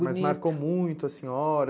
bonito. Mas marcou muito a senhora?